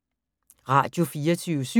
Radio24syv